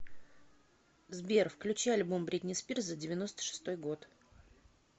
сбер включи альбом бритни спирс за девяносто шестой год